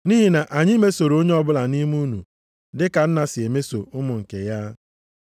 Nʼihi na anyị mesoro onye ọbụla nʼime unu dị ka nna si emeso ụmụ nke ya,